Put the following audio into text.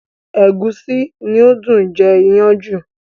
Ẹ̀gúsí ni ó dùn jẹ iyán jù